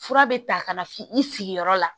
Fura bɛ ta ka na f'i sigiyɔrɔ la